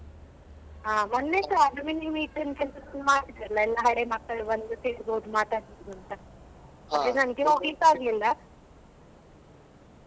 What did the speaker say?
ಹಾ ಮೊನ್ನೆಸ ಎಲ್ಲ ಮಾಡಿದ್ರಲ್ಲ ಎಲ್ಲ ಹಳೆ ಮಕ್ಕಳು ಬಂದು ತಿಂದ್ ಹೋಗಿ ಮಾತಾಡ್ತಿದ್ರು ಅಂತ ನಂಗೆ ಹೋಗ್ಲಿಕ್ಕೆ ಆಗ್ಲಿಲ್ಲ .